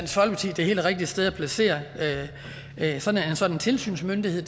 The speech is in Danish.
det helt rigtige sted at placere en sådan tilsynsmyndighed